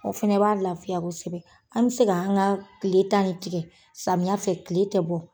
O fɛnɛ b'a lafiya kosɛbɛ. An me se ka an ŋa tile tan ne tigɛ, samiya fɛ tile tɛ bɔ.